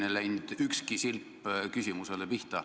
Vastuses ei läinud ükski silp küsimusele pihta.